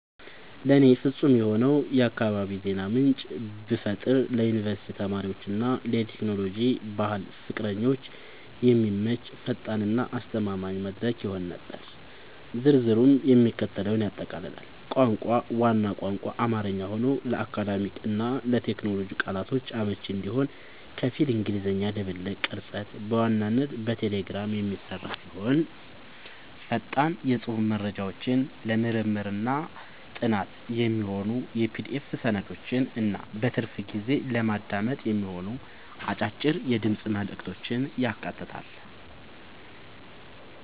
ለእኔ ፍጹም የሆነውን የአካባቢ የዜና ምንጭ ብፈጥር ለዩኒቨርሲቲ ተማሪዎች እና ለቴክኖሎጂ/ባህል ፍቅረኞች የሚመች፣ ፈጣን እና አስተማማኝ መድረክ ይሆን ነበር። ዝርዝሩም የሚከተለውን ያጠቃልላል - ቋንቋ፦ ዋናው ቋንቋ አማርኛ ሆኖ፣ ለአካዳሚክ እና ለቴክኖሎጂ ቃላቶች አመቺ እንዲሆን ከፊል እንግሊዝኛ ድብልቅ። ቅርጸት፦ በዋናነት በቴሌግራም የሚሰራ ሲሆን፣ ፈጣን የጽሑፍ መረጃዎችን፣ ለምርምርና ጥናት የሚሆኑ የPDF ሰነዶችን እና በትርፍ ጊዜ ለማዳመጥ የሚሆኑ አጫጭር የድምፅ መልዕክቶችን ያካትታል።